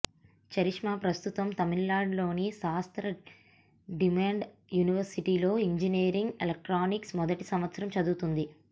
charisma ప్రస్తుతం తమిళనాడులోని Sastra deemed యూనివర్సిటీలో ఇంజినీరింగ్ ఎలక్ట్రానిక్స్ మొదటి సంవత్సరం చదువుతోంది